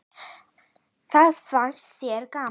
Það fannst þér gaman.